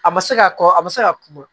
A ma se ka kɔ a bɛ se ka kuma